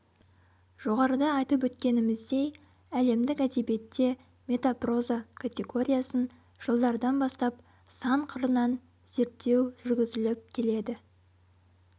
жоғарыда айтып өткеніміздей әлемдік әдебиетте метапроза категориясын жылдардан бастап сан қырынан зерттеу жүргізіліп келеді